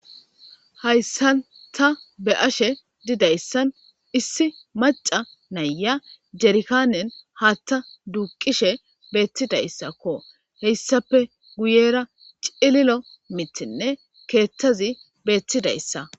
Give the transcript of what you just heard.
hayssan ta be'ashe didayssan issi maca naya jerkaanen haatta duuqishe beettidayssakko heyssafe guyera cililo mitinne keettazi beettidayssa